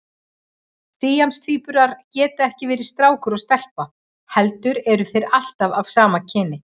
Síamstvíburar geta ekki verið strákur og stelpa heldur eru þeir alltaf af sama kyninu.